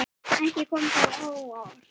Ekki kom það á óvart.